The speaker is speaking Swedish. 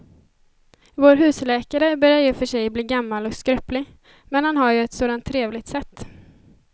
Vår husläkare börjar i och för sig bli gammal och skröplig, men han har ju ett sådant trevligt sätt!